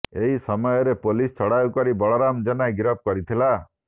ଏହି ସମୟରେ ପୋଲିସ ଚଢାଉ କରି ବଳରାମ ଜେନା ଗିରଫ କରିଥିଲା